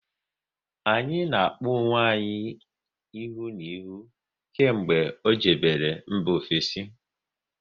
Anyị na-akpọ onwe anyị ihu na ihu kemgbe ọ jebere mba ofesi